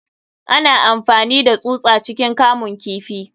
Ana amfani da tsusa ciikin kamun kifi.